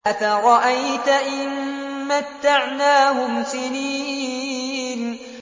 أَفَرَأَيْتَ إِن مَّتَّعْنَاهُمْ سِنِينَ